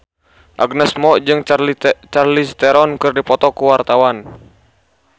Agnes Mo jeung Charlize Theron keur dipoto ku wartawan